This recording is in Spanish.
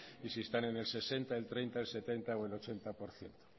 y si están en el sesenta el treinta el setenta o el ochenta por ciento